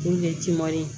Kun ye ciman ye